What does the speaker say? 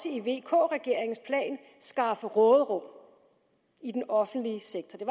i vk regeringens plan skaffe råderum i den offentlige sektor det